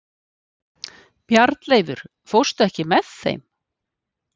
Bjarnleifur, ekki fórstu með þeim?